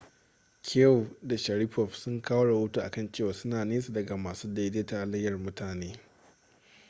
chiao da sharipov sun kawo rahoto a kan cewa suna nesa daga masu daidaita halayyar mutane